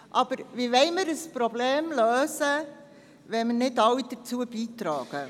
Aber wie wollen wir ein Problem lösen, wenn wir nicht alle dazu beitragen?